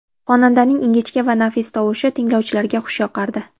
Xonandaning ingichka va nafis tovushi tinglovchilarga xush yoqardi.